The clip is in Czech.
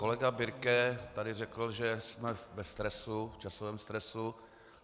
Kolega Birke tady řekl, že jsme ve stresu, v časovém stresu.